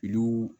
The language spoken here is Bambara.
Olu